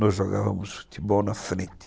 Nós jogávamos futebol na frente.